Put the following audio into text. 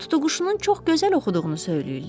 Tutuquşunun çox gözəl oxuduğunu söyləyirlər.